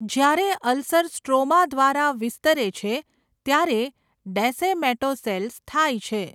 જ્યારે ulcer stroma દ્વારા વિસ્તરે છે ત્યારે ડેસેમેટોસેલ્સ થાય છે.